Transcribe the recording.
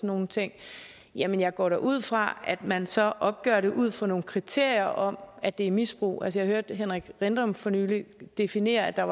nogle ting jamen jeg går da ud fra at man så opgør det ud fra nogle kriterier om at det er misbrug altså jeg hørte henrik rindom for nylig definere at der